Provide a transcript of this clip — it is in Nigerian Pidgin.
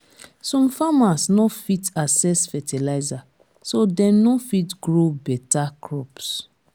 some farmers no fit access fertilizer so dem no fit grow better crops.